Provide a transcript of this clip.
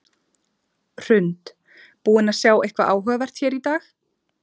Hrund: Búin að sjá eitthvað áhugavert hér í dag?